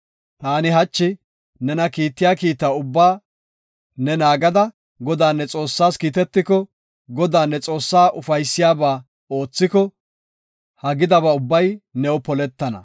Taani hachi nena kiittiya kiita ubbaa ne naagada, Godaa, ne Xoossaas kiitetiko, Godaa ne Xoossaa ufaysiyabaa oothiko, ha gidabay new poletana.